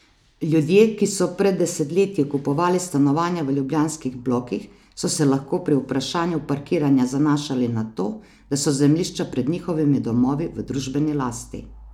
Ljudje, ki so pred desetletji kupovali stanovanja v ljubljanskih blokih, so se lahko pri vprašanju parkiranja zanašali na to, da so zemljišča pred njihovimi domovi v družbeni lasti.